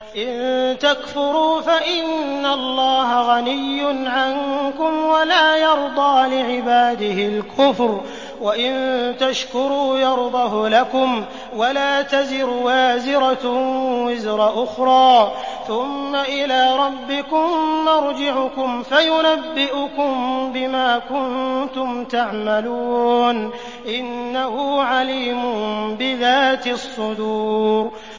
إِن تَكْفُرُوا فَإِنَّ اللَّهَ غَنِيٌّ عَنكُمْ ۖ وَلَا يَرْضَىٰ لِعِبَادِهِ الْكُفْرَ ۖ وَإِن تَشْكُرُوا يَرْضَهُ لَكُمْ ۗ وَلَا تَزِرُ وَازِرَةٌ وِزْرَ أُخْرَىٰ ۗ ثُمَّ إِلَىٰ رَبِّكُم مَّرْجِعُكُمْ فَيُنَبِّئُكُم بِمَا كُنتُمْ تَعْمَلُونَ ۚ إِنَّهُ عَلِيمٌ بِذَاتِ الصُّدُورِ